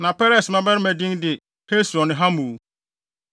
Na Peres mmabarima din de Hesron ne Hamul.